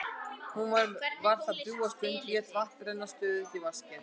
Hún var þar drjúga stund og lét vatn renna stöðugt í vaskinn.